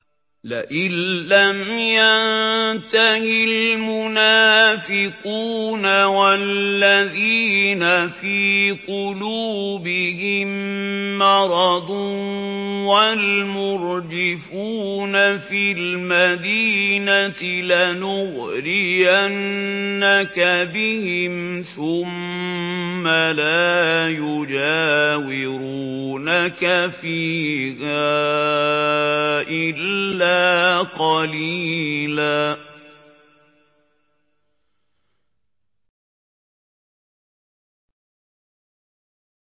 ۞ لَّئِن لَّمْ يَنتَهِ الْمُنَافِقُونَ وَالَّذِينَ فِي قُلُوبِهِم مَّرَضٌ وَالْمُرْجِفُونَ فِي الْمَدِينَةِ لَنُغْرِيَنَّكَ بِهِمْ ثُمَّ لَا يُجَاوِرُونَكَ فِيهَا إِلَّا قَلِيلًا